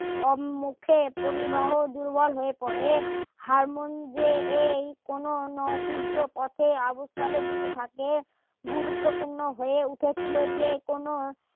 উম মুখে পরিবাহ দুর্বল হয়ে পড়ে তার মন যে এই কোনো নৌদ্বিজ্জ পথে আবস্থলে দিতে থাকে গুরুত্বপূর্ণ হয়ে উঠেছিল যে কোনো